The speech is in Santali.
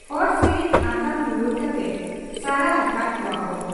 ᱦᱩᱲᱩ ᱥᱤᱨᱤᱠᱚ ᱟᱛᱟᱝ ᱨᱩᱣᱟᱹᱲ ᱠᱟᱛᱮ ᱥᱟᱨᱟ ᱟᱠᱟᱦᱟᱫ ᱠᱚᱣᱟᱠᱚ ᱾